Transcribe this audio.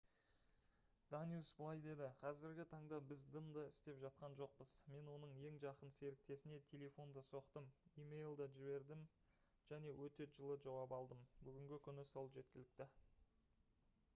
даниус былай деді: «қазіргі таңда біз дым да істеп жатқан жоқпыз. мен оның ең жақын серіктесіне телефон да соқтым имейл де жібердім және өте жылы жауап алдым. бүгінгі күні сол жеткілікті